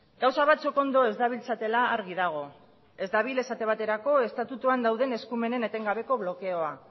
gauza batzuk ondo ez dabiltzatela argi dago ez dabil esate baterako estatuan dauden eskumenen etengabeko blokeoa